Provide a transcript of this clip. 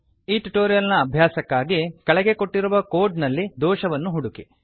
ಈ ಟ್ಯುಟೋರಿಯಲ್ ನ ಅಭ್ಯಾಸಕ್ಕಾಗಿ ಕೆಳಗೆ ಕೊಟ್ಟಿರುವ ಕೋಡ್ ನಲ್ಲಿ ದೋಷವನ್ನು ಹುಡುಕಿ